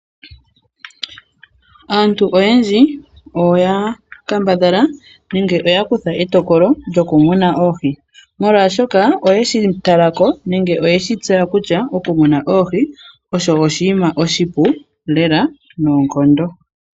Aantu oyendji oya kambadhala nenge oya kutha etokolo lyokumuna oohi molwaashoka oye shi tala ko nenge oye shi tseya kutya okumuna oohi osho oshiima oshipu lela noonkondo.